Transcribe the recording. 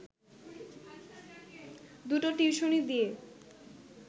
দুটো টিউশনি দিয়ে